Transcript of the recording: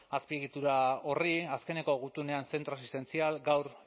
azpiegitura horri azkeneko gutunean zentro asistentzial gaur